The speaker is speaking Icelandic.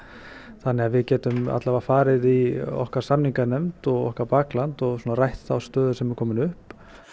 þannig að við getum farið í okkar samninganefnd og okkar bakland og rætt þá stöðu sem er komin upp